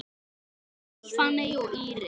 Magnús, Fanney og Íris.